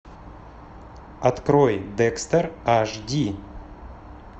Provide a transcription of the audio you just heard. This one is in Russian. открой декстер аш ди